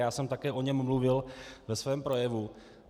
Já jsem také o něm mluvil ve svém projevu.